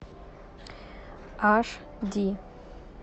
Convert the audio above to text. аш ди